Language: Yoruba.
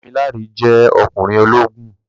Dámiláre jẹ́ ọkùnrin ológun